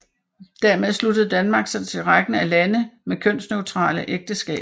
Dermed sluttede Danmark sig til rækken af lande med kønsneutrale ægteskaber